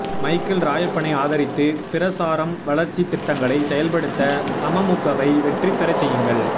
Michael ராயப்பனை ஆதரித்து பிரசாரம் வளர்ச்சி திட்டங்களை செயல்படுத்த அமமுகவை வெற்றி பெற செய்யுங்கள்